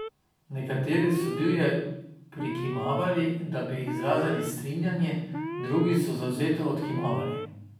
Nekateri so divje prikimavali, da bi izrazili strinjanje, drugi so zavzeto odkimavali.